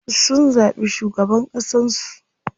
Sun zaɓi shugaban ƙasan su.